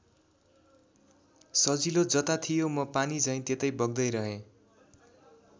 सजिलो जता थियो म पानीझैँ त्यतै बग्दै रहेँ।